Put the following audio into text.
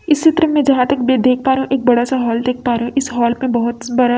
इस चित्र में जहाँ तक मैं देख पा रही एक बड़ा सा हॉल देख पा रही इस हॉल में बहोत स बड़ा --